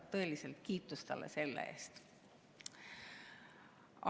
Tõeliselt kiitus talle selle eest.